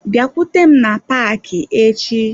Bịakwute m na paaki echi.